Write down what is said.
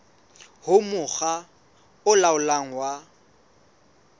ho mokga o laolang wa